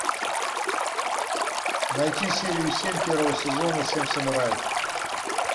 найти серию семь первого сезона семь самураев